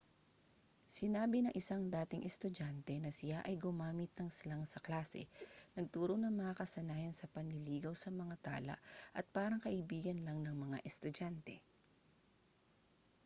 sinabi ng isang dating estudyante na siya ay gumamit ng slang sa klase nagturo ng mga kasanayan sa panliligaw sa mga tala at parang kaibigan lang ng mga estudyante